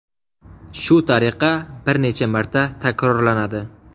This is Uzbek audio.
Shu tariqa bir necha marta takrorlanadi.